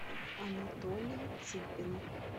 анатолий цыпин